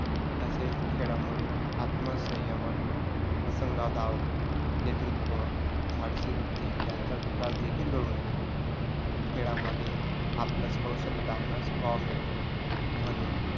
तसेच खेळामुळे आत्मसंयमात प्रसंगावधान, नेतृत्व, धाडसीवृत्ती यांचा विकास देखील घडून येतो. खेळामध्ये आपल्यास कौशल्य दाखवण्यात वाव मिळतो म्हणून